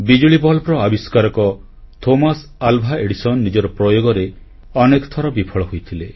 ବିଜୁଳି ବଲ୍ବର ଆବିଷ୍କାରକ ଥୋମାସ୍ ଆଲ୍ଭା ଏଡିସନ୍ ନିଜର ପ୍ରୟୋଗରେ ଅନେକ ଥର ବିଫଳ ହୋଇଥିଲେ